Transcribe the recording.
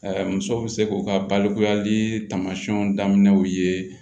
musow bɛ se k'u ka balikuyali taamasiyɛnw daminɛw ye